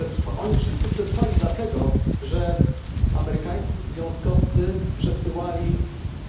Otóż oni wszyscy przetrwali dlatego, że amerykańscy związkowcy przesyłali